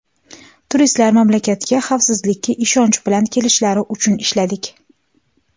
Turistlar mamlakatga xavfsizlikka ishonch bilan kelishlari uchun ishladik.